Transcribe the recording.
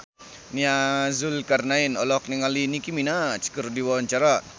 Nia Zulkarnaen olohok ningali Nicky Minaj keur diwawancara